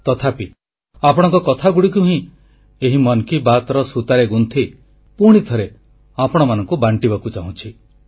ତଥାପି ଆପଣଙ୍କ କଥାଗୁଡ଼ିକୁ ହିଁ ଏହି ମନ କି ବାତ୍ର ସୂତାରେ ଗୁନ୍ଥି ପୁଣିଥରେ ଆପଣମାନଙ୍କୁ ବାଣ୍ଟିବାକୁ ଚାହୁଁଛି